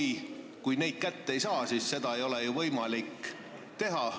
Sest kui neid kätte ei saa, siis seda ei ole ju võimalik teha.